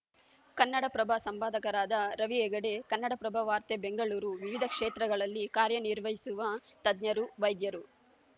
ಕನ್ನಡಪ್ರಭ ಸಂಪಾದಕರಾದ ರವಿಹೆಗಡೆ ಕನ್ನಡಪ್ರಭ ವಾರ್ತೆ ಬೆಂಗಳೂರು ವಿವಿಧ ಕ್ಷೇತ್ರಗಳಲ್ಲಿ ಕಾರ್ಯ ನಿರ್ವಹಿಸುವ ತಜ್ಞರು ವೈದ್ಯರು